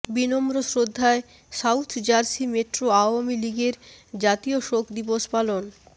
বিনম্র শ্রদ্ধায় South Jersey metro Awami লীগের জাতীয় শোক দিবস পালন